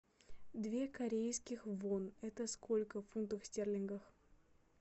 две корейских вон это сколько в фунтах стерлингах